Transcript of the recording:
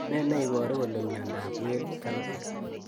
Nee neiparu kole miondop Well janovic